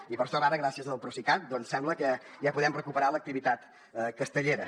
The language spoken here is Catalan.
i per sort ara gràcies al procicat em sembla que ja podem recuperar l’activitat castellera